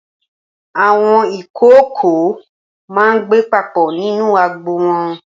Awọn ikookó mà n gbé papọ ninú àgbó wọn